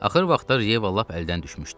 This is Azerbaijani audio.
Axır vaxtlar Yeva lap əldən düşmüşdü.